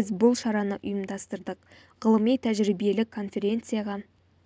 біз бұл шараны ұйымдастырдық ғылыми-тәжірибелік конференцияға